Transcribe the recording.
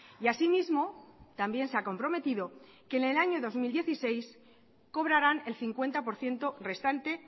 y asimismo también se ha comprometido que en el año dos mil dieciséis cobrarán el cincuenta por ciento restante